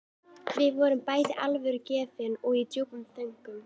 Við vorum bæði alvörugefin og í djúpum þönkum.